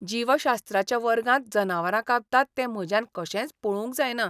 जीवशास्त्राच्या वर्गांत जनावरां कापतात तें म्हज्यान कशेंच पळोवंक जायना.